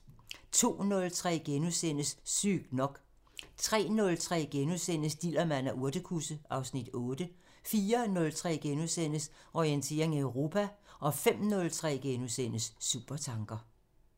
02:03: Sygt nok * 03:03: Dillermand og urtekusse (Afs. 8)* 04:03: Orientering Europa * 05:03: Supertanker *